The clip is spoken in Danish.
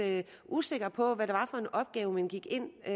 usikre på hvad det var for en opgave man gik ind til